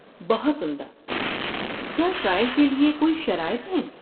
بہت عمدہ! کیا ٹرائل کے لیے کوئی شرائط ہیں؟